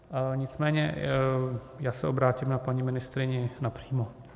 Nicméně já se obrátím na paní ministryni napřímo.